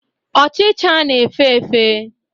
Ochicha na-efe efe.